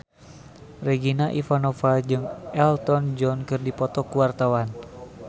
Regina Ivanova jeung Elton John keur dipoto ku wartawan